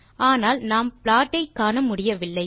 ஆனால் நாம் ப்ளாட் ஐ காணமுடியவில்லை